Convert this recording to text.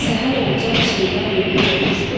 Səhər olcaq Şeyda bülbül oxuşdu.